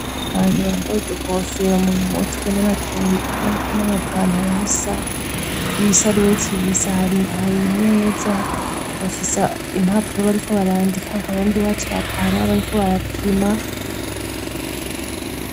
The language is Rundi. Abantu bambaye udukofero mu mutwe n'amapantaro asa y'ibisarubeti bisa hari meza bafisa impapuro bariko barandika akaba ndi bacapa hari abariko barapima.